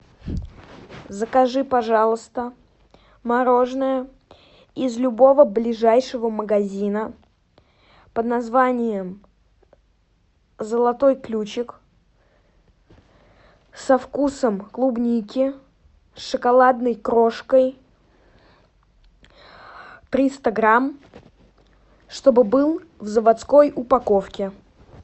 закажи пожалуйста мороженое из любого ближайшего магазина под названием золотой ключик со вкусом клубники с шоколадной крошкой триста грамм чтобы был в заводской упаковке